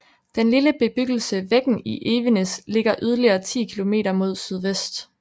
Den lille bebyggelse Veggen i Evenes ligger yderligere ti kilometer mod sydvest